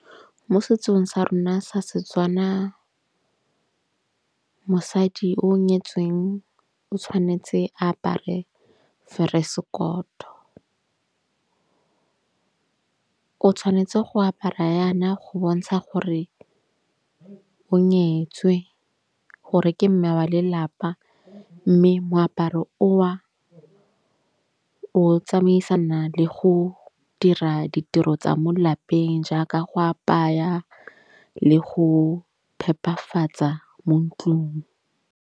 Mo setsong sa rona sa Setswana mosadi o nyetsweng o tshwanetse a apare feresekoto. O tshwanetse go apara yana go bontsha gore o nyetswe gore ke mme wa lelapa. Mme moaparo o a o tsamaisana le go dira ditiro tsa mo lapeng, jaaka go apaya le go phepafatsa mo ntlong.